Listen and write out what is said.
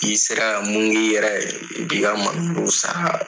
N'i sera ka mun k'i yɛrɛ ye i bi ka malo sara.